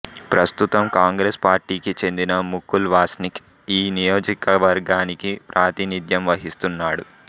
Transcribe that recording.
ప్రస్తుతం కాంగ్రెస్ పార్టీకి చెందిన ముకుల్ వాస్నిక్ ఈ నియోజకవర్గానికి ప్రాతినిధ్యం వహిస్తున్నాడు